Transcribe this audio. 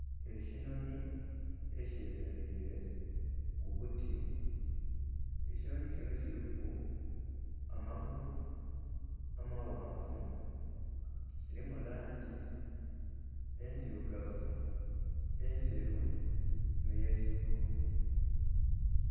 Ekinhonhi ekye mereire ku buti, ekinhonhi kinho kiliku amagulu amaghanvu kilimu langi endhirugavu, endheru nhe ye kivuvu.